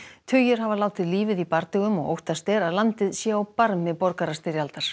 tugir hafa látið lífið í bardögum og óttast er að landið sé á barmi borgarastyrjaldar